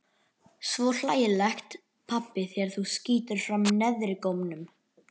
Svo hlægilegt pabbi þegar þú skýtur fram neðrigómnum.